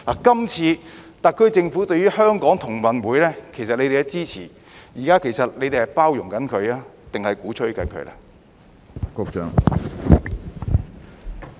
今次特區政府支持香港同樂運動會，其實你們是在包容它，還是鼓吹它呢？